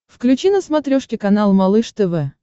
включи на смотрешке канал малыш тв